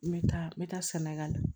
N bɛ taa n bɛ taa sɛnɛgali